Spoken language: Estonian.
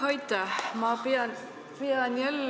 Aitäh!